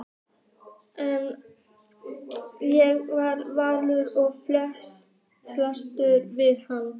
Ég er vanur að fást við hann!